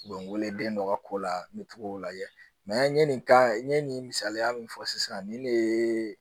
U bɛ n wele den dɔ ka ko la n bɛ to k'o lajɛ n ye nin kan n ye nin misaliya min fɔ sisan nin de ye